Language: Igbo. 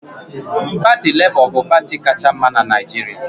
Parti Lebọ bu parti kacha mma n'Naijiria